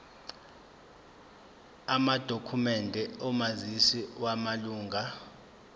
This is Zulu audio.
amadokhumende omazisi wamalunga